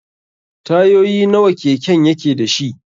Tayoyi nawa keken yake dashi?